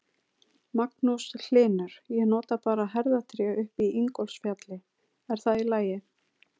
Magnús Hlynur: Ég nota bara herðatré upp í Ingólfsfjalli, er það í lagi?